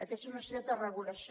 aquesta és una necessitat de regulació